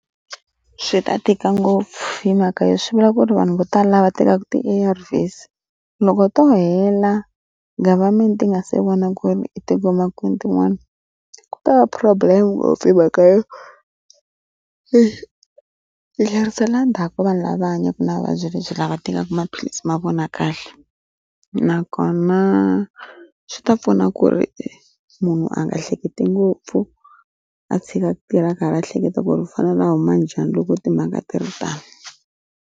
Swi ta tika ngopfu hi mhaka ya swi vula ku ri vanhu vo tala lava va tekaku ti A_R_Vs loko to hela government yi nga se vona ku ri i tingoma kwini tin'wana ku ta va problem ngopfu hi mhaka yo i yi tlherisela endzhaku ka vanhu lava hanyaka na vuvabyi lebyi lava tekaka maphilisi ma vona kahle nakona swi ta pfuna ku ri munhu a nga hleketi ngopfu a tshika ku tirha a ka ha ri ehleketo ku ri u fanele a huma njhani loko timhaka a ti ri tano.